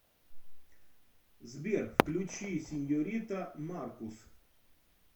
сбер включи сеньорита маркус